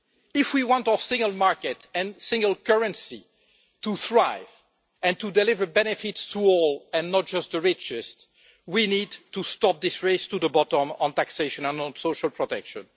If we want our single market and single currency to thrive and to deliver benefits to all and not just the richest, we need to stop this race to the bottom on taxation and on social protection.